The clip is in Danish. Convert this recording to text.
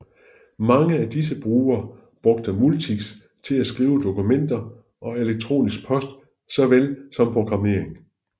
Mange af disse brugere brugte Multics til at skrive dokumenter og elektronisk post såvel som programmering